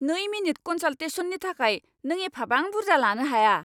नै मिनिट कनसाल्टेसननि थाखाय नों एफाबां बुरजा लानो हाया!